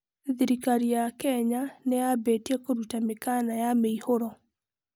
Thirikari ya Kenya nĩ yambĩtie kũruta mĩkana ya mĩihũro.